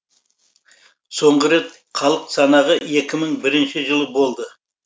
соңғы рет халық санағы екі мың бірінші жылы болды